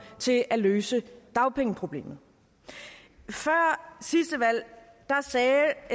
til at løse dagpengeproblemet før sidste valg sagde